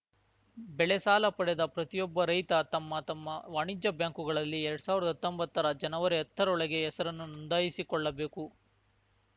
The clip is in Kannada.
ಬೆಳೆ ಸಾಲ ಪಡೆದ ಪ್ರತಿಯೊಬ್ಬ ರೈತ ತಮ್ಮ ತಮ್ಮ ವಾಣಿಜ್ಯ ಬ್ಯಾಂಕುಗಳಲ್ಲಿ ಎರ್ಡ್ ಸಾವಿರ್ದಾ ಹತ್ತೊಂಬತ್ತರ ಜನವರಿಹತ್ತ ರೊಳಗೆ ಹೆಸರನ್ನು ನೋಂದಾಯಿಸಿಕೊಳ್ಳಬೇಕು